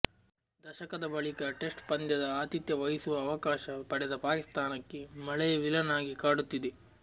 ದಶಕದ ಬಳಿಕ ಟೆಸ್ಟ್ ಪಂದ್ಯದ ಆತಿಥ್ಯ ವಹಿಸುವ ಅವಕಾಶ ಪಡೆದ ಪಾಕಿಸ್ಥಾನಕ್ಕೆ ಮಳೆಯೇ ವಿಲನ್ ಆಗಿ ಕಾಡುತ್ತಿದೆ